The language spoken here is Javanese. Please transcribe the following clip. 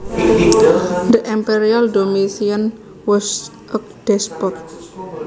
The Emperor Domitian was a despot